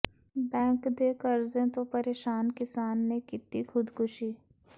bank ਦੇ ਕਰਜ਼ੇ ਤੋਂ ਪਰੇਸ਼ਾਨ ਕਿਸਾਨ ਨੇ ਕੀਤੀ ਖ਼ੁਦਕੁਸ਼ੀ